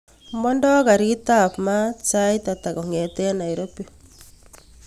Mondo garit ab maat sait ata kongeten nairobi